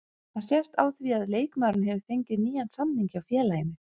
Það sést á því að leikmaðurinn hefur fengið nýjan samning hjá félaginu.